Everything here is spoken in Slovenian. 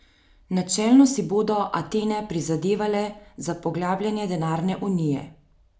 Načelno si bodo Atene prizadevale za poglabljanje denarne unije.